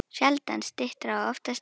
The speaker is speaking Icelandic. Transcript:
Sjaldan styttra og oftast lengra.